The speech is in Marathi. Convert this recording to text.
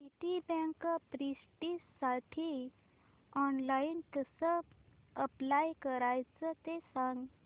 सिटीबँक प्रेस्टिजसाठी ऑनलाइन कसं अप्लाय करायचं ते सांग